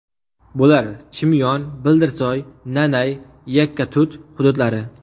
Bular Chimyon, Bildirsoy, Nanay, Yakkatut hududlari.